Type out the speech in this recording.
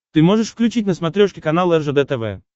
ты можешь включить на смотрешке канал ржд тв